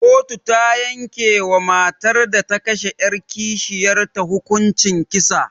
Koto ta yanke wa matar da ta kashe 'yar kishiyar ta hukuncin kisa.